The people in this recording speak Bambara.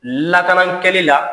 Lakanankɛli la